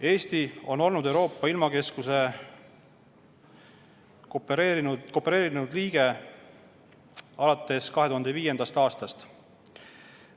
Eesti on olnud Euroopa ilmakeskuse koopereerunud liige alates 2005. aastast.